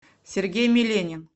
сергей миленин